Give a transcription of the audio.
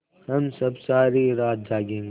हम सब सारी रात जागेंगे